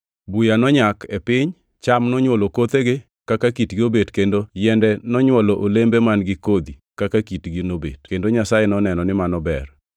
Buya nonyak e piny: Cham nonywolo kothegi kaka kitgi nobet kendo yiende nonywolo olembe man-gi kodhi kaka kitgi nobet. Kendo Nyasaye noneno ni mano ber.